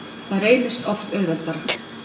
Það reynist oft auðveldara.